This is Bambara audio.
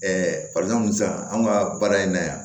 sisan anw ka baara in na yan